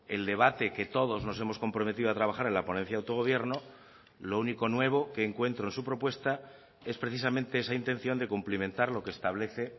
el debate que todos nos hemos comprometido a trabajar en la ponencia de autogobierno lo único nuevo que encuentro en su propuesta es precisamente esa intención de cumplimentar lo que establece